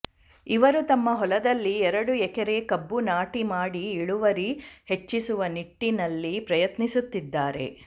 ಇವರು ತಮ್ಮ ಹೊಲದಲ್ಲಿ ಎರಡು ಎಕರೆ ಕಬ್ಬು ನಾಟಿ ಮಾಡಿ ಇಳುವರಿ ಹೆಚ್ಚಿಸುವ ನಿಟ್ಟಿನಲ್ಲಿ ಪ್ರಯತ್ನಿಸುತ್ತಿದ್ದಾರೆ